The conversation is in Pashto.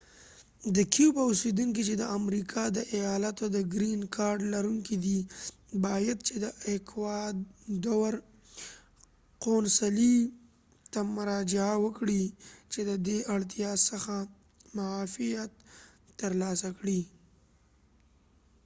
د کیوبا اوسیدونکی چی د امریکا د ایالاتو د ګرین کارډ لرونکی دی باید چی د ایکوادور قونصلی ته مراجعه وکړی چی ددی اړتیا څخه معافیت تر لاسه کړی